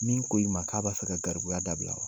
Min ko i ma k'a b'a fɛ ka garibuya dabila